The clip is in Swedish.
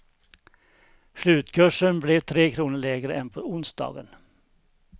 Slutkursen blev tre kronor lägre än på onsdagen.